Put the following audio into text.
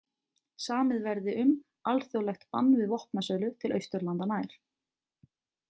Samið verði um alþjóðlegt bann við vopnasölu til Austurlanda nær.